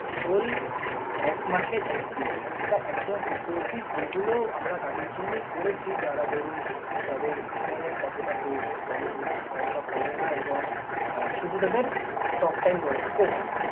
whole এক মাসে এক GB পাবেন এটা একদম fifty rupees । এইগুলো আমরা তাদের জন্যেই করেছি যারা ধরুন যাদের internet অতটা প্রয়োজন পরে না অতটা পরে না এবং আহ শুধু তাদের talktime দরকার। ও হ্যাঁ!